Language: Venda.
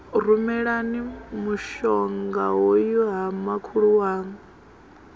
rumelani mushongahoyu ha makhulu waṋu